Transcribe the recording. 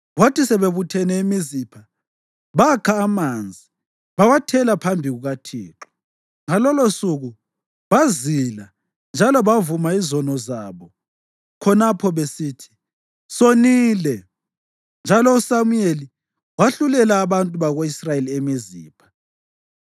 Kwathi sebebuthene eMizipha, bakha amanzi bawathela phambi kukaThixo. Ngalolosuku bazila njalo bavuma izono zabo khonapho besithi, “Sonile.” Njalo uSamuyeli wahlulela abantu bako-Israyeli eMizipha.